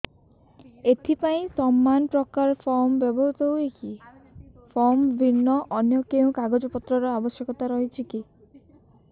ଏଥିପାଇଁ ସମାନପ୍ରକାର ଫର୍ମ ବ୍ୟବହୃତ ହୂଏକି ଫର୍ମ ଭିନ୍ନ ଅନ୍ୟ କେଉଁ କାଗଜପତ୍ରର ଆବଶ୍ୟକତା ରହିଛିକି